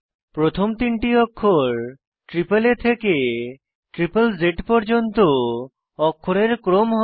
প্রথম তিনটি অক্ষর এএ থেকে জ্জ পর্যন্ত অক্ষরের ক্রম হয়